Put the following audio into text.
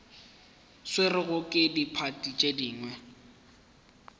swerwego ke diphathi tše dingwe